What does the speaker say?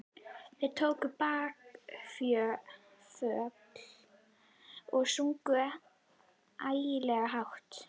Þeir tóku bakföll og sungu ægilega hátt.